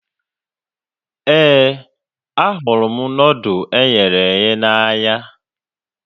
Éè, ahụrụ m nudụ eghere eghe n'anya